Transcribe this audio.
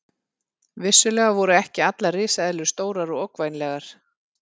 Vissulega voru ekki allar risaeðlur stórar og ógnvænlegar.